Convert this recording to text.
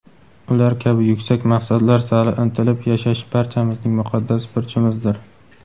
ular kabi yuksak maqsadlar sari intilib yashash barchamizning muqaddas burchimizdir.